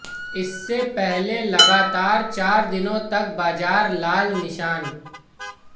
इससे पहले लगातार चार दिनों तक बाजार लाल निशान